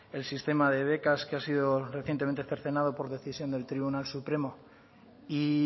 el sistema de becas que ha sido recientemente cercenado por decisión del tribunal supremo y